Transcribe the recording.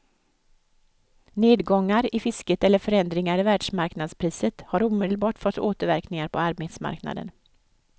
Nedgångar i fisket eller förändringar i världsmarknadspriset har omedelbart fått återverkningar på arbetsmarknaden.